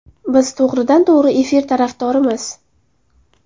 Biz to‘g‘ridan-to‘g‘ri efir tarafdorimiz.